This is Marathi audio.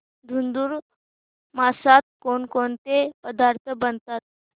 धुंधुर मासात कोणकोणते पदार्थ बनवतात